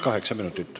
Kaheksa minutit.